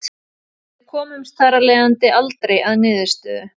Við komumst þar af leiðandi aldrei að niðurstöðu.